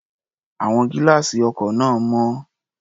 Àwọn gílá́àsì ọkọ̀ náà mọ́.